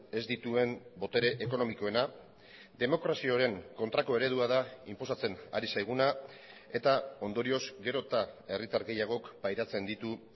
ez dituen botere ekonomikoena demokraziaren kontrako eredua da inposatzen ari zaiguna eta ondorioz gero eta herritar gehiagok pairatzen ditu